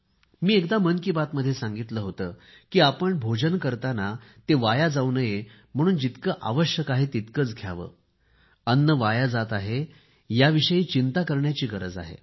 मी एकदा मन की बात मध्ये सांगितले होते की आपण भोजन करताना ते वाया जाऊ नये म्हणून जितके आवश्यक आहे तितकेच घ्यावे अन्न वाया जात आहे याविषयी चिंता करण्याची गरज आहे